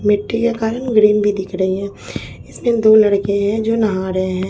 मिट्टी के कारण ग्रीन भी दिख रही है इसमें दो लड़के हैं जो नहा रहे हैं।